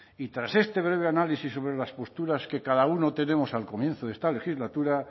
y tras este breve análisis sobre las posturas que cada uno tenemos al comienzo de esta legislatura